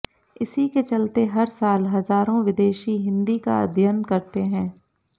इसी के चलते हर साल हजारों विदेशी हिन्दी का अध्ययन करते हैं